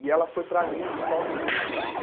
E ela foi para Nice sozinha.